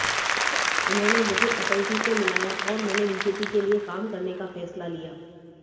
उन्होंने मुझे अटलजी से मिलाया और मैंने बीजेपी के लिए काम करने का फैसला लिया